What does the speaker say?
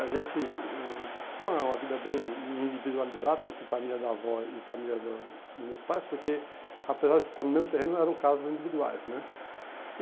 A gente eh tinha uma uma vida bem individualizada entre família da avó e família do dos meus pais, porque apesar de estar no mesmo terreno eram casas individuais, né?